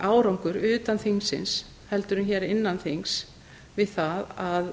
árangur utan þingsins en hér innan þings við það að